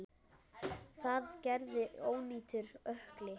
Það gerði ónýtur ökkli.